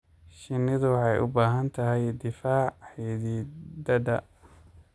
Shinnidu waxay u baahan tahay difaac xididada.